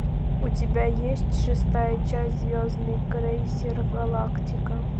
у тебя есть шестая часть звездный крейсер галактика